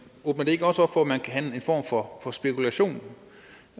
åbner det ikke også op for at man kan have en form for spekulation